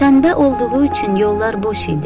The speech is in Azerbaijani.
Şənbə olduğu üçün yollar boş idi.